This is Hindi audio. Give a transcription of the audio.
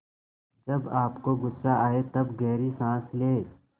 जब आपको गुस्सा आए तब गहरी सांस लें